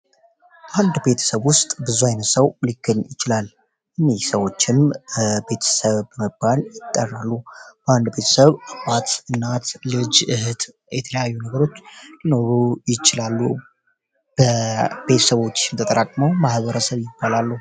አንድ ቤተሰብ ውስጥ ብዙ ዓይነሰው ሊክን ይችላል እኔ ሰዎችም ቤተሰብ በመግባል ይጠራሉ በአንድ ቤተሰብ አባት እናት ልጅ እህት የተለያዩ ነገሮች ሊኖሩ ይችላሉ ቤተሰቦች የተጠራቅመው መህበረሰብ ይባላሉ